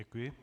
Děkuji.